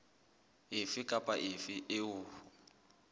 efe kapa efe eo ho